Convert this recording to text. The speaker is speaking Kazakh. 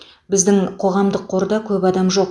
біздің қоғамдық қорда көп адам жоқ